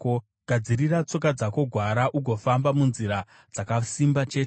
Gadzirira tsoka dzako gwara ugofamba munzira dzakasimba chete.